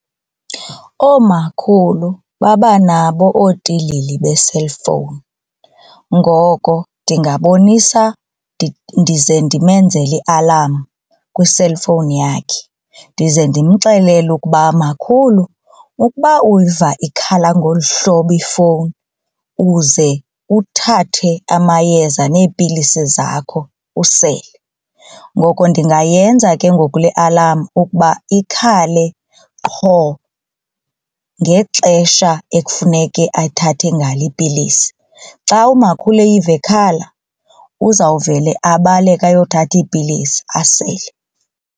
Oomakhulu babanabo ootilili be-cellphone ngoko ndingabonisa ndize ndimenzele i-alarm kwi-cellphone yakhe ndize ndimxelele ukuba makhulu ukuba uyiva ikhala ngolu hlobo ifowuni uze uthathe amayeza neepilisi zakho usele. Ngoko ndingayenza ke ngoku le alarm ukuba ikhale qho ngexesha ekufuneke ethathe ngalo iipilisi. Xa umakhulu eyive ikhala uzawuvele abaleke ayothatha iipilisi asele.